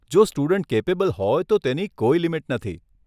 જો student capable હોય તો તેની કોઈ લિમિટ નથી.